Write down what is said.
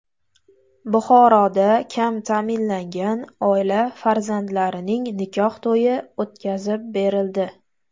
Buxoroda kam ta’minlangan oila farzandlarining nikoh to‘yi o‘tkazib berildi.